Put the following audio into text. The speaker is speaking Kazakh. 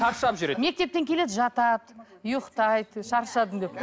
шаршап жүреді мектептен келеді жатады ұйқтайды шаршадым деп